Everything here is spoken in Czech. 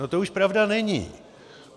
No to už pravda není.